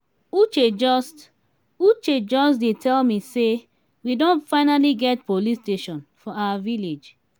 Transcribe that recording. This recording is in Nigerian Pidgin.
uche just uche just dey tell me say we don finally get police station for our village